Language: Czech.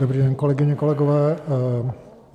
Dobrý den, kolegyně, kolegové.